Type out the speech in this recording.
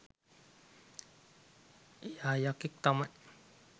එයා යකෙක් තමයි